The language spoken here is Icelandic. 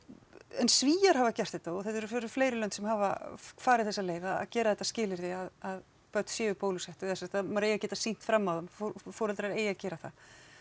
en Svíar hafa gert þetta og það eru fleiri lönd sem hafa farið þessa leið að gera þetta að skilyrði að börn séu bólusett eða sem sagt að maður eigi að geta sýnt fram á það foreldrar eigi að gera það